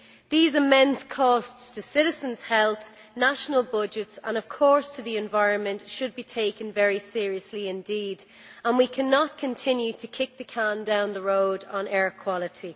These immense costs to citizens' health, national budgets and, of course, to the environment should be taken very seriously indeed, and we cannot continue to kick the can down the road on air quality.